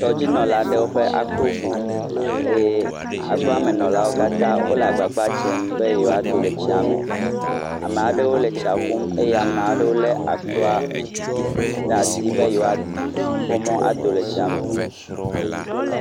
Tɔdzinɔla aɖewo ƒe akro go eye akroa me nɔlawo katã wole agbagba dzem be yewoado le tsia me. Amea ɖewo le tsia ƒum eye amea ɖewo lé akroa ɖe asi be yewoakpɔ mɔ ado le tsia me.